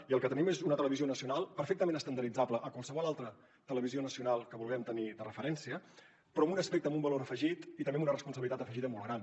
i el que tenim és una televisió nacional perfectament estandarditzable a qualsevol altra televisió nacional que vulguem tenir de referència però amb un aspecte amb un valor afegit i també amb una responsabilitat afegida molt gran